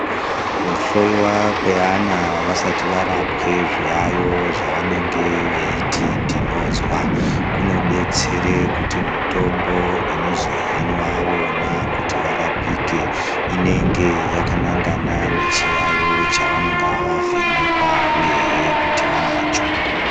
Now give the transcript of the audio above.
Kuhloyiwa kwevana vasati varapwe zviyayiyo zvevanenge veiti tinozwa kunodetsere mitombo inozohinwa vona kuti varapike inonga yakanangana nechiyaiyo chavanenge vavhenekwa uyehe kuti vanacho.